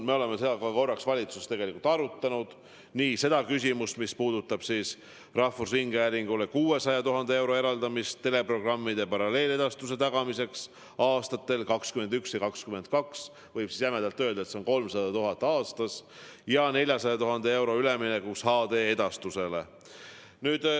Me oleme seda korra ka valitsuses tegelikult arutanud – nii seda küsimust, mis puudutab rahvusringhäälingule 600 000 euro eraldamist teleprogrammide paralleeledastuse tagamiseks aastatel 2021–2022 ehk jämedalt öeldes on see 300 000 eurot aastas, kui ka 400 000 euro eraldamist üleminekuks HD-edastusele.